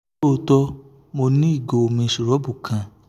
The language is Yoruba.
lootọ mo ni igo omi siropu kan ṣugbọn